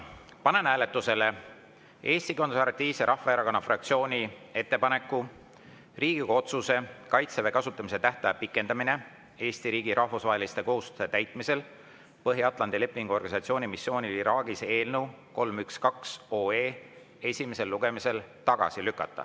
Panen hääletusele Eesti Konservatiivse Rahvaerakonna fraktsiooni ettepaneku Riigikogu otsuse "Kaitseväe kasutamise tähtaja pikendamine Eesti riigi rahvusvaheliste kohustuste täitmisel Põhja-Atlandi Lepingu Organisatsiooni missioonil Iraagis" eelnõu 312 esimesel lugemisel tagasi lükata.